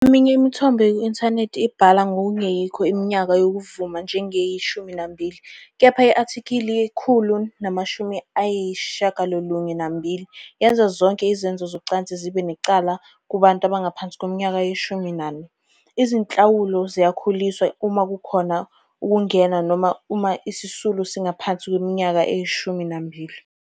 Eminye imithombo eku-inthanethi ibhala ngokungeyikho iminyaka yokuvuma njengeyi-12, kepha i-athikili 192 yenza zonke izenzo zocansi zibe necala kubantu abangaphansi kweminyaka eyi-14, izinhlawulo ziyakhuliswa uma kukhona ukungena noma uma isisulu singaphansi kweminyaka eyi-12.